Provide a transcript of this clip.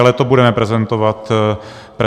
Ale to budeme prezentovat zítra.